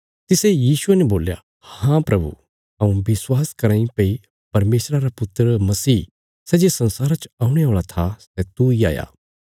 तिसे यीशुये ने बोल्या हाँ प्रभु हऊँ विश्वास कराँ इ भई परमेशरा रा पुत्र मसीह सै जे संसारा च औणे औल़ा था सै तूई हाया